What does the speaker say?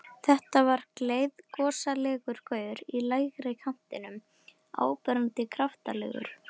Þetta var gleiðgosalegur gaur í lægri kantinum, áberandi kraftalegur.